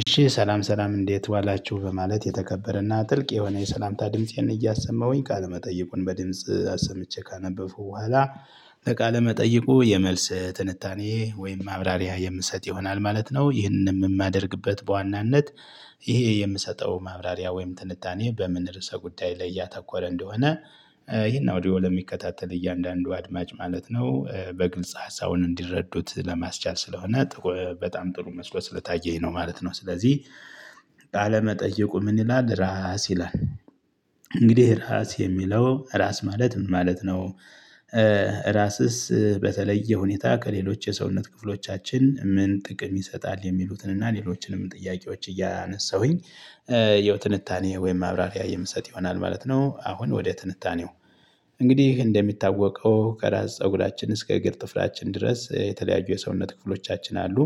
እሺ ሰላም ሰላም እንዴት ዋላችሁ በማለት የተከበረና ጥልቅ የሆነ የሰላምታ ድምፄን እያሰማሁኝ ቃለመጠየቀን በድምጽ አሰምቼ ካነበብሁ በኋላ ለቃለ መጠይቁ የመልስ ትንታኔ ወይም ማብራሪያ የምሰጥ ይሆናል ማለት ነው። ይህንን የማደርግበት በዋናነት። ይሄ የምሰጠው ማብራሪያ ወይም ትንታኔ በምን ርዕሰ ጉዳይ ላይ ያተኮረ እንደሆነ። ይሄን አውዲዮ ለሚከታተል እያንዳንዱ አድማጭ ማለት ነው በግልጽ ሀሳቡን እንዲረዱት ለማስቻል ስለሆነ በጣም ጥሩ መስሎ ስለታየኝ ነው ማለት ነው። ስለዚህ ባለመጠየቁ ምን ይላል ራስ ይላል? እንግዲህ ራስ የሚለው ራስ ማለት ምን ማለት ነው? ራስስ በተለየ ሁኔታ ከሌሎች የሰውነት ክፍሎቻችን ምን ጥቅም ይሰጣል የሚሉትን እና ሌሎችንም ጥያቄዎች እያነሳሁኝ። የትንታኔ ወይም አብራሪ የምሰጥ ይሆናል ማለት ነው። አሁን ወደ ትንታኔው እንግዲህ እንደሚታወቀው ከራስ ፀጉራችን እስከ እግር ጭፍላችን ድረስ የተለያዩ የሰውነት ክፍሎቻችን አሉ።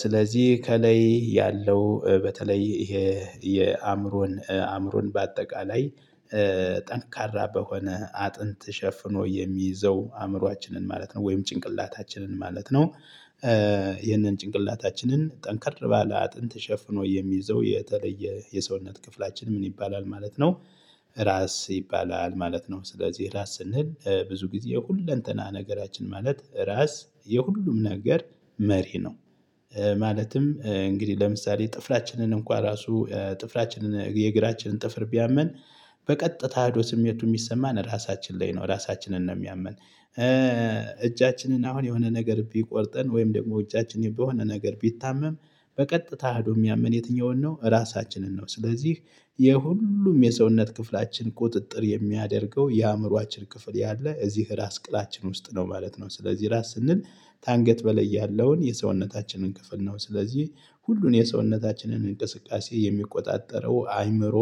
ስለዚህ ከላይ ያለው በተለይ ይሄ የአእምሮን አእምሮን በአጠቃላይ። ጠንካራ በሆነ አጥንት ሸፍኖ የሚይዘው አእምሮአችንን ማለት ነው ወይም ጭንቅላታችንን ማለት ነው። ይህንን ጭንቅላታችንን ጠንከር ባለ አጥንት ሸፍኖ የሚይዘው የተለየ የሰውነት ክፍላችን ምን ይባላል ማለት ነው? ራስ ይባላል ማለት ነው። ስለዚህ ራስ ስንል ብዙ ጊዜ ሁለንተና ነገራችን ማለት ራስ የሁሉም ነገር መሪ ነው። ማለትም እንግዲህ ለምሳሌ ጥፍራችንን እንኳ ራሱ ጥፍራችንን የእግራችንን ጥፍር ቢያመን። በቀጥታ ህዶ ስሜቱ ሚሰማን ራሳችን ላይ ነው ራሳችንን ነው የሚያምን። እጃችንን አሁን የሆነ ነገር ቢቆርጠን ወይም ደግሞ እጃችን በሆነ ነገር ቢታመም። በቀጥታ ህዶ የሚያምን የትኛውን ነው ራሳችንን ነው። ስለዚህ የሁሉም የሰውነት ክፍላችን ቁጥጥር የሚያደርገው የአእምሮአችን ክፍል ያለ እዚህ ራስ ቅላችን ውስጥ ነው ማለት ነው። ስለዚህ ራስ ስንል ከአንገት በላይ ያለውን የሰውነታችንን ክፍል ነው። ስለዚህ ሁሉን የሰውነታችንን እንቅስቃሴ የሚቆጣጠረው አይምሮ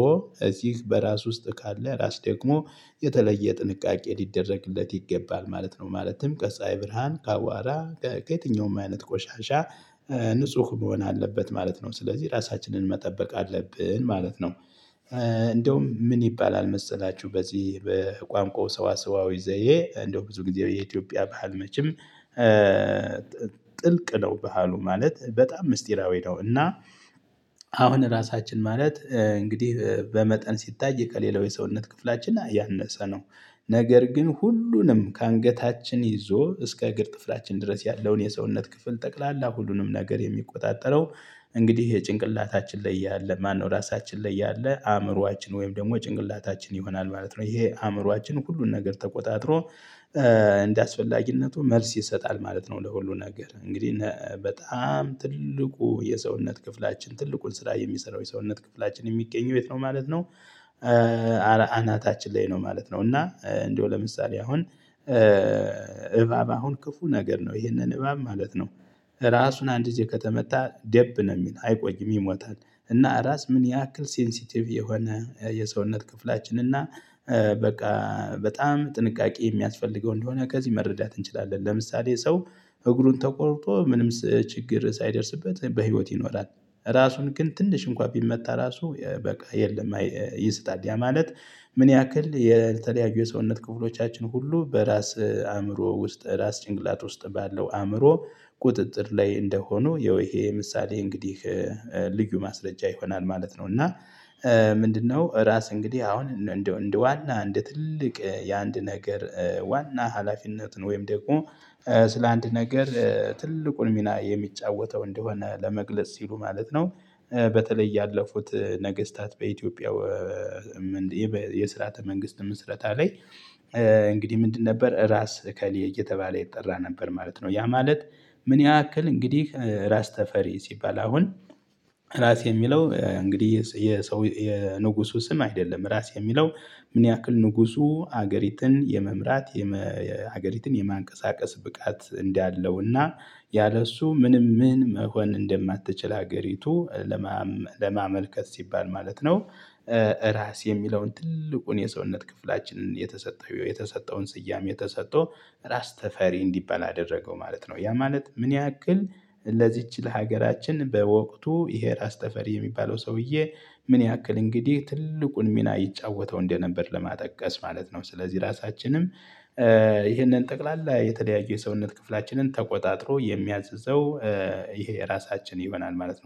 እዚህ በራስ ውስጥ ካለ ራስ ደግሞ የተለየ ጥንቃቄ ሊደረግለት ይገባል ማለት ነው። ማለትም ከፀሀይ ብርሃን ከአዋራ ከየትኛውም አይነት ቆሻሻ። ንጹህ መሆን አለበት ማለት ነው ስለዚህ ራሳችንን መጠበቅ አለብን ማለት ነው። እንደውም ምን ይባላል መሰላችሁ በዚህ በቋንቋው ሰዋሰዋዊ ዘዬ እንደው ብዙ ጊዜ የኢትዮጵያ ባህል መቼም ጥልቅ ነው ባህሉ ማለት በጣም ምስጢራዊ ነው። እና አሁን ራሳችን ማለት እንግዲህ በመጠን ሲታይ ከሌላው የሰውነት ክፍላችን አያነሰ ነው። ነገር ግን ሁሉንም ከአንገታችን ይዞ እስከ እግር ጥፍራችን ድረስ ያለውን የሰውነት ክፍል ጠቅላላ ሁሉንም ነገር የሚቆጣጠረው። እንግዲህ የጭንቅላታች ላይ ያለ ማነው ራሳችን ላይ እያለ አእምሮአችን ወይም ደግሞ ጭንቅላታችን ይሆናል ማለት ነው። ይሄ አእምሮአችን ሁሉን ነገር ተቆጣጥሮ እንደአስፈላጊነቱ መልስ ይሰጣል ማለት ነው። ለሁሉም ነገር እንግዲህ በጣም ትልቁ የሰውነት ክፍላችን ትልቁን ስራ የሚሰራው የሰውነት ክፍላችን የሚገኝ የት ነው ማለት ነው? አናታችን ላይ ነው ማለት ነው። እና እንደው ለምሳሌ አሁን እባብ አሁን ክፉ ነገር ነው ይሄንን እባብ ማለት ነው። ራሱን አንድ ጊዜ ከተመታ ደብ ነው ሚል አይቆይም ይሞታል። እና ራስ ምን ያክል ሴንሲቲቭ የሆነ የሰውነት ክፍላችን እና በቃ በጣም ጥንቃቄ የሚያስፈልገው እንደሆነ ከዚህ መረዳት እንችላለን። ለምሳሌ ሰው እግሩን ተቆርጦ ምንም ችግር ሳይደርስበት በህይወት ይኖራል። ራሱን ግን ትንሽ እንኳን ቢመታ ራሱ በቃ የለም ይስጣል ማለት። ምን ያክል የተለያዩ የሰውነት ክፍሎቻችን ሁሉ በራስ አእምሮ ውስጥ ራስ ጭንቅላት ውስጥ ባለው አእምሮ። ቁጥጥር ላይ እንደሆኑ ያው ይሄ ምሳሌ እንግዲህ ልዩ ማስረጃ ይሆናል ማለት ነው። እና ምንድነው? ራስ እንግዲህ አሁን እንደው እንደዋና እንደ ትልቅ የአንድ ነገር ዋና ሀላፊነትን ወይም ደግሞ ስለ አንድ ነገር ትልቁን ሚና የሚጫወተው እንደሆነ ለመግለጽ ሲሉ ማለት ነው። በተለይ ያለፉት ነገስታት በኢትዮጵያ የስራተ መንግስት ምስረታ ላይ። እንግዲህ ምንድን ነበር ራስ እከሌ እየተባለ ይጠራ ነበር ማለት ነው። ያ ማለት። ምን ያክል እንግዲህ ራስ ተፈሪ ሲባል አሁን ራስ የሚለው እንግዲህ የሰው የንጉሱ ስም አይደለም ራስ የሚለው። ምን ያክል ንጉሱ ሀገሪትን የመምራት ሀገሪትን የማንቀሳቀስ ብቃት እንዳለው እና ያለሱ ምንም ምን መሆን እንደማትችል ሀገሪቱ ለማመልከት ሲባል ማለት ነው። ራስ የሚለውን ትልቁን የሰውነት ክፍላችንን የተሰጠው የተሰጠውን ስያሜ የተሰጠው ራስ ተፈሪ እንዲባል አደረገው ማለት ነው። ያ ማለት ምን ያክል ለዚች ለሀገራችን በወቅቱ ይሄ ራስ ተፈሪ የሚባለው ሰውዬ ምን ያክል እንግዲህ ትልቁን ሚና ይጫወተው እንደነበር ለማጠቀስ ማለት ነው። ስለዚህ ራሳችንም ይሄንን ጠቅላላ የተለያየ የሰውነት ክፍላችንን ተቆጣጥሮ የሚያዝዘው ይሄ ራሳችን ይሆናል ማለት ነው